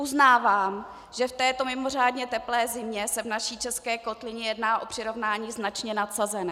Uznávám, že v této mimořádně teplé zimě se v naší české kotlině jedná o přirovnání značně nadsazené.